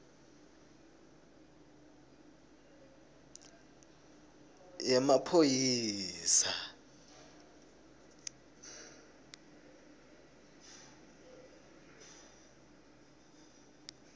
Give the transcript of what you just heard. yemaphoyisa